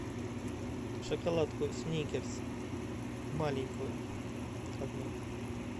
шоколадку сникерс маленькую одну